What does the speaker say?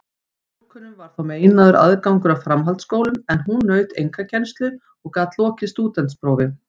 Stúlkum var þá meinaður aðgangur að framhaldsskólum, en hún naut einkakennslu og gat lokið stúdentsprófi.